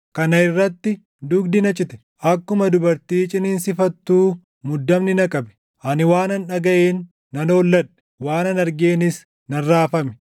Kana irratti dugdi na cite; akkuma dubartii ciniinsifattuu muddamni na qabe; ani waanan dhagaʼeen nan holladhe; waanan argeenis nan raafame.